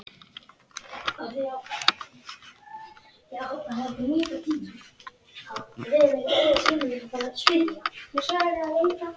Berlínar vakti í senn kvíða og eftirvæntingu.